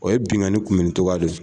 O ye binkani kunbɛ nin cogoya de fɛ.